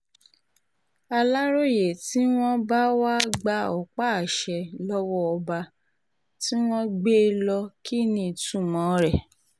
aláròye tí wọ́n bá wá gba ọ̀pá-àṣẹ lọ́wọ́ ọba tí wọ́n gbé e lọ kí ní ìtumọ̀ rẹ̀